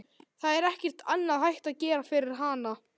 Það er ekkert annað hægt að gera fyrir hana.